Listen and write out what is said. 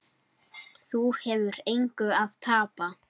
Þú hefur engu að tapa.